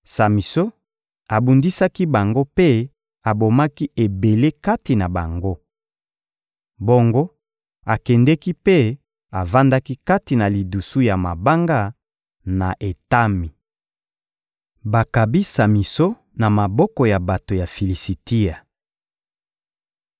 Samison abundisaki bango mpe abomaki ebele kati na bango. Bongo akendeki mpe avandaki kati na lidusu ya mabanga, na Etami. Bakabi Samison na maboko ya bato ya Filisitia